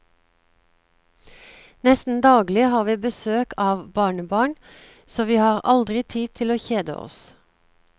Nesten daglig har vi besøk av barnebarn, så vi har aldri tid til å kjede oss.